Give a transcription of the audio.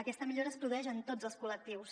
aquesta millora es produeix en tots els col·lectius